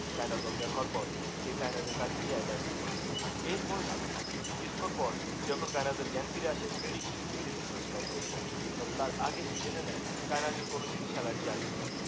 কায়েনাথ অজ্ঞান হওয়ার পর সে কায়েনাথের কাছে গিয়ে আই লাভ ইউ বলে এর পর দাঁত ওঠায় কিছক্ষন পর যখন কায়েনাথের জ্ঞান ফিরে আসে ফ্রেডি কিছু মেডিসিন প্রেস্ক্রাইব, ওরে দিয়ে তবে তার আগে সে জেনে নিয়ে যে কায়েনাথের কোনো জিনিসে এলার্জি আছে কি না